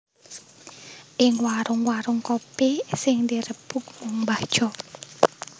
Ing warung warung kopi sing dirembug mung mbah Jo